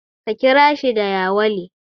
Ka kira shi da yawale.